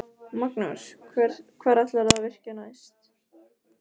Magnús: Hvar ætlarðu að virkja næst?